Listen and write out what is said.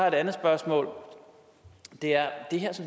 et andet spørgsmål om det her